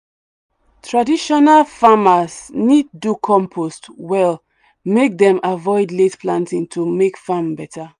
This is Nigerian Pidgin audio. traditional farmers need do compost well make them avoid late planting to make farm better.